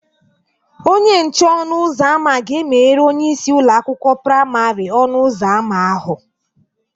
Onye nche ọnụ ụzọ ámá ga-emeghere onyeisi ụlọ akwụkwọ praimarị ọnụ ụzọ ámá ahụ